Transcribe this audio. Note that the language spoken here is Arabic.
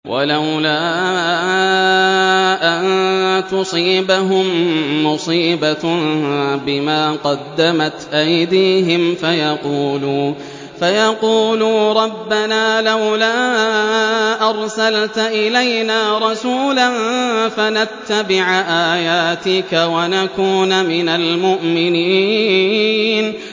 وَلَوْلَا أَن تُصِيبَهُم مُّصِيبَةٌ بِمَا قَدَّمَتْ أَيْدِيهِمْ فَيَقُولُوا رَبَّنَا لَوْلَا أَرْسَلْتَ إِلَيْنَا رَسُولًا فَنَتَّبِعَ آيَاتِكَ وَنَكُونَ مِنَ الْمُؤْمِنِينَ